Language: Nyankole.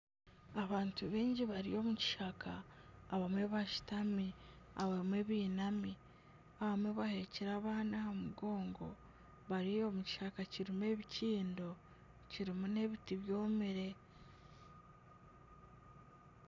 Abantu baingi bari omu kishaka abamwe bashutami abamwe bainami abamwe baheekire abaana aha mugongo bari omu kishaka kirimu ebikiindo kirimu n'ebiti byomire.